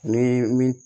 Ni min